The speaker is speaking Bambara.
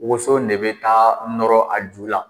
Woso in de bɛ taa nɔrɔ a ju la.